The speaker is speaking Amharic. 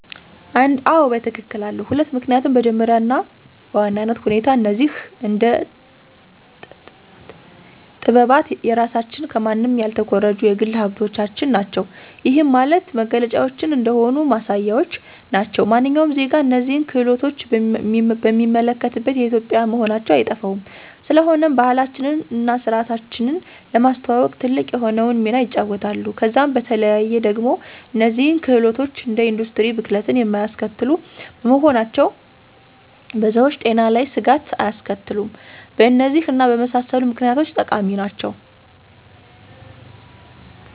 1, አዎ በትክክል አሉ፤ 2, ምክኒያቱም በመጀመሪያ እና በዋናነት ሁኔታ እነዚህ አደ ጠጥባት የራሳችን ከማንም ያልተኮረጁ የግል ሀብቶቻችን ናቸው። ይህም ማለት መገለጫዎቻችን እንደሆኑ ማሳያዎች ናቸው። ማንኛውም ዜጋ እነዚህን ክህሎቶች ቢመለከት የኢትዮጵዊያን መሆናቸው አይጠፋውም፤ ስለሆነም ባህላችንን እና ስርዓታችንን ለማስተዋወቅ ትልቅ የሆነውን ሚና ይጫወታሉ። ከዛም በተለዬ ደግሞ እነዚህ ክህሎቶች እንደ ኢንዱስትሪ ብክለትን የማያስከትሉ በመሆናቸው በሰዎች ጤና ላይ ስጋት አያስከትሉም። በእነዚህ እና በመሳሰሉት ምክኒያቶች ጠቃሚ ናቸው።